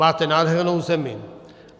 Máte nádhernou zemi.